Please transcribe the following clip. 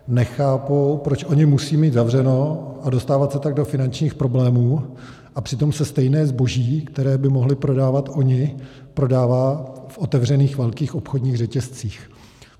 Nechápou, proč oni musí mít zavřeno a dostávat se tak do finančních problémů, a přitom se stejné zboží, které by mohli prodávat oni, prodává v otevřených velkých obchodních řetězcích.